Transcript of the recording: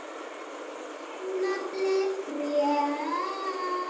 Naflinn frjáls.